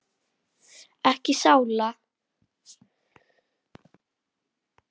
Ekki sála.